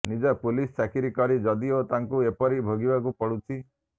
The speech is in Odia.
ନିଜେ ପୁଲିସ ଚାକିରି କରି ଯଦି ତାଙ୍କୁ ଏପରି ଭୋଗିବାକୁ ପଡ଼ୁଛି